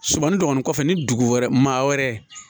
Sumani dɔɔnin kɔfɛ ni dugu wɛrɛ maa wɛrɛ